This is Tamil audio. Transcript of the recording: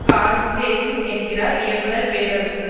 கார்ஸ் சேஸிங் என்கிறார் இயக்குனர் பேரரசு